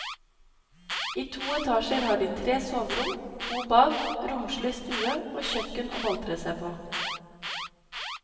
I to etasjer har de tre soverom, to bad, romslig stue og kjøkken å boltre seg på.